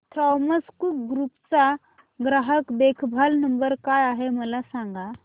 Thomas Cook group चा ग्राहक देखभाल नंबर काय आहे मला सांगा